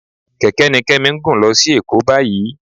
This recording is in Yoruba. Kẹ̀kẹ́ ni Kẹ́mi ń gùn lọ sí Èkó báyìí